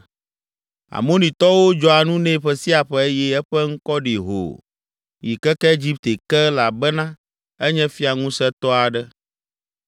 Amonitɔwo dzɔa nu nɛ ƒe sia ƒe eye eƒe ŋkɔ ɖi hoo yi keke Egipte ke elabena enye fia ŋusẽtɔ aɖe.